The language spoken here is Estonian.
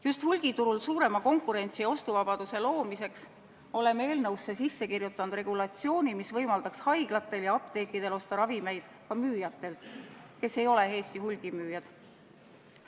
Just hulgiturul suurema konkurentsi ja ostuvabaduse loomiseks oleme eelnõusse sisse kirjutanud regulatsiooni, mis võimaldaks haiglatel ja apteekidel osta ravimeid ka müüjatelt, kes ei ole Eesti hulgimüüjad.